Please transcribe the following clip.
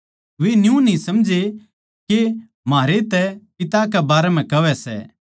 वे न्यू न्ही समझै के म्हारै तै पिता कै बारै म्ह कहवै सै